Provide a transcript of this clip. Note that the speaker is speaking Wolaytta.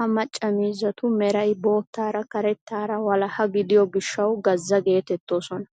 Ha macca miizzatu meray boottaara karettaara wolaha gidiyo gishshawu gazza geteettoosona.